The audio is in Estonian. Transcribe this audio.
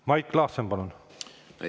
Mait Klaassen, palun!